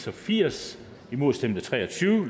og firs imod stemte tre og tyve